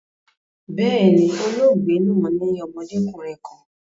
Bẹ́ẹ̀ni, olóògbe naa ni ọmọdekunrin kan